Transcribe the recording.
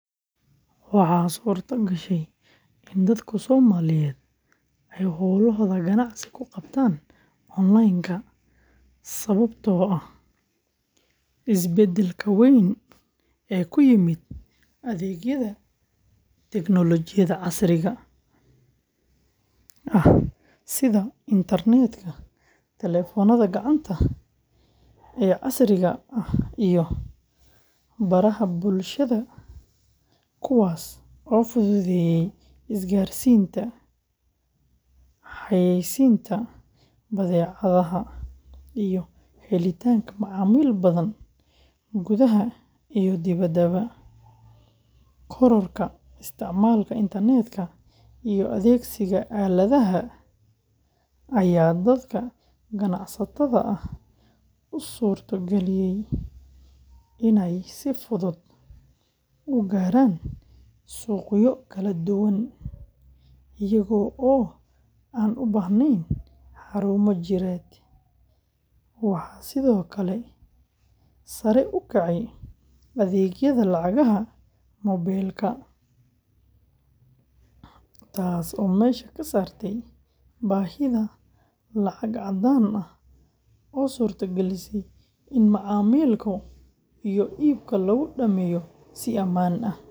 Waxa suurta gashay in dadku Somaliyeed ay howlahooda ganacsi kuqabtan onlaynka sababto ah isbadalka weyn e kuimimid adegyada Teknolijiyada casriga ah. Sida Intarnetka, Talefonada gacanta, iyo casriga ah baraha bulshada kuwas o fududeyi isgarsinta xayaysinta badecadaha iyo helitanka macamil nadan gudaha iyo dipadaba. Korarka isticmalka Intarnetka iyo adegsiga aladaha aya dadka ganacstada ah u suurto galiyay in ay sifudud u gaaran suqyo kala duwan iyago o an u bahneen xarumo jireed u ah sido kale sare u kacay adegyada lacagaha mobeelka taas o mesha kasartay bahida lacag cadaan ah o surta galisay in macamilku iyo ulka lagu dameyo si amaan ah.